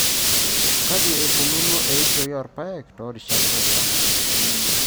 Kaji eikununo eishoi oorpaek too rishat pokira.